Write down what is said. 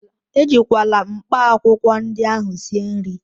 Ejikwala mkpaakwụkwọ ndị ahụ sie nri!